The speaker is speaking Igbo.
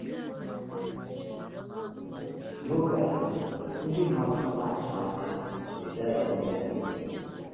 N’oge ahụ, “ndị mmadụ nọ n’atụ anya” Mesaịa Onye Ndu.